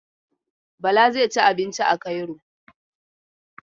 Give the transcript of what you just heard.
Bala zai ci abinci a Cairo.